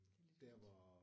Det er lidt vildt